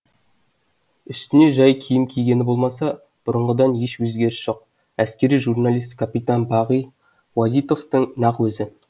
үстіне жай киім кигені болмаса бұрынғыдан еш өзгерісі жоқ әскери журналист капитан бағи уазитовтың нақ өзі